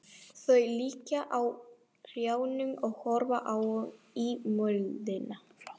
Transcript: Þau liggja á hnjánum og horfa ofan í moldina.